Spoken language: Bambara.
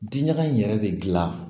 Diɲaga in yɛrɛ bɛ gilan